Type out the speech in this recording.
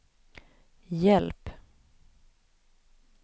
hjälp